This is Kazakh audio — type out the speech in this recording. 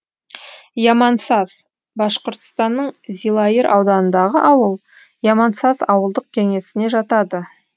ямансаз башқұртстанның зилайыр ауданындағы ауыл ямансаз ауылдық кеңесіне жатады